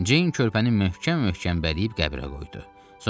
Ceyn körpəni möhkəm-möhkəm bələyib qəbrə qoydu.